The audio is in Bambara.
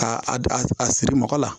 A a siri mɔgɔ la